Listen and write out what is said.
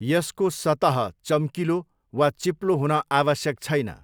यसको सतह चम्किलो वा चिप्लो हुन आवश्यक छैन।